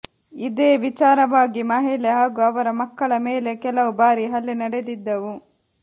ಇದೇ ವಿಚಾರವಾಗಿ ಮಹಿಳೆ ಹಾಗೂ ಅವರ ಮಕ್ಕಳ ಮೇಲೆ ಕೆಲವು ಬಾರಿ ಹಲ್ಲೆ ನಡೆದಿದ್ದವು